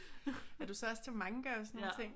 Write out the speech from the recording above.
Er du så også til manga og sådan nogle ting?